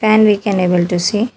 Fan we can able to see.